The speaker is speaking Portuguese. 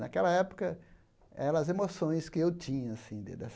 Naquela época, eram as emoções que eu tinha assim de das